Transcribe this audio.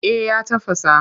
Eh ya tafasa.